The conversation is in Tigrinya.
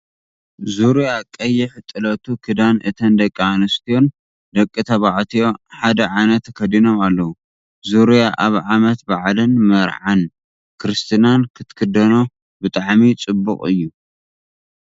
ዙርያ ቀይሕ ጥለቱ ክዳን እተን ደቂ ኣንስትዮን ደቂ ተባዕትዮ ሓደ ዓይነት ተከዲኖም ኣለው። ዙርያ ኣብ ዓመት ባዓልን መርዓን ክርስትናን ክትክደኖ ብጣዕሚ ፅቡቅ እዩ።